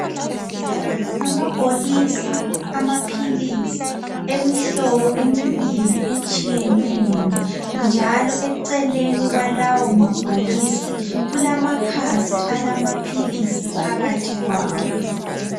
Amabhokisi amaphilisi emihlobo emibili etshiyeneyo njalo eceleni kwalawo mabhokisi kulamakhasi alamaphilisi phakathi kwawo.